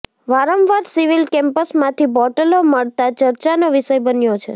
વારંવાર સિવિલ કેમ્પસમાંથી બોટલો મળતા ચર્ચાનો વિષય બન્યો છે